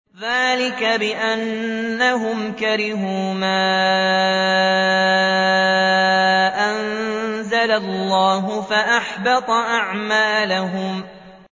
ذَٰلِكَ بِأَنَّهُمْ كَرِهُوا مَا أَنزَلَ اللَّهُ فَأَحْبَطَ أَعْمَالَهُمْ